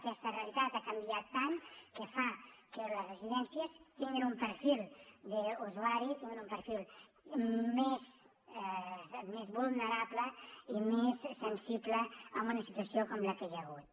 aquesta realitat ha canviat tant que fa que les residències tinguin un perfil d’usuari tinguin un perfil més vulnerable i més sensible en una situació com la que hi ha hagut